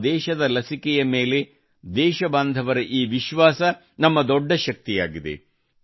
ನಮ್ಮ ದೇಶದ ಲಸಿಕೆ ಮೇಲೆ ದೇಶಬಾಂಧವರ ಈ ವಿಶ್ವಾಸ ನಮ್ಮ ದೊಡ್ಡ ಶಕ್ತಿಯಾಗಿದೆ